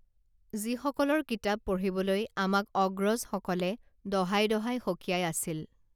যিসকলৰ কিতাপ পঢ়িবলৈ আমাক অগ্ৰজসকলে দহাই দহাই সকীয়াই আছিল